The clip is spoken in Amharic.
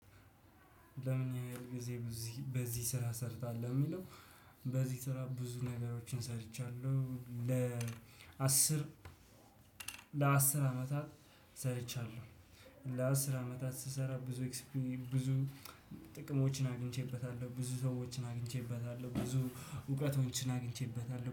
ለምን ያህል ጊዜ ነው እዚህ በዚህ ስራ ሰርተሃል? ለሚለው በዚህ ስራ ብዙ ነገሮችን ሰርቻለሁ። ለአስር ለአስር አመታት ሰርቻለሁ። ለአስር አመታት ስሰራ ብዙ ብዙ ጥቅሞችን አግኝቼበታለሁ። ብዙ ሰዎችን አግኝቼበታለሁ። ብዙ እውቀቶችን አግኝቼበታለሁ።